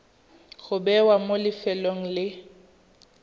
go bewa mo lefelong le